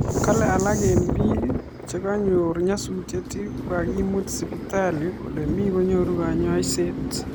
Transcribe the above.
Kalee alak eng piik chekinyoor nyasutiet ko kakimuut sipitalit olemii konyoruu kanyaiset